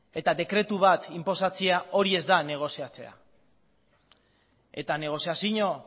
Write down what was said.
eta dekretu bat inposatzea hori ez da negoziatzea eta negoziazio